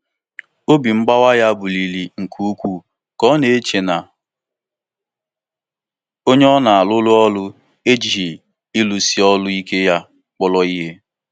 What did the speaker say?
Ọ na-agbasi mbọ ike igosipụta uru nke ego ya um, na-eche na ndị ọ um hụrụ n'anya enweghị ekele na-adịgide maka ya.